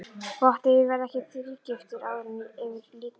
Gott ef ég verð ekki þrígiftur áður en yfir lýkur.